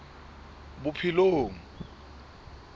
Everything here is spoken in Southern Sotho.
bophelong